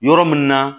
Yɔrɔ min na